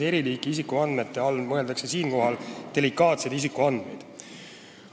Eriliiki isikuandmete all mõeldakse siinkohal delikaatseid isikuandmeid.